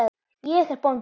Ég er bóndi.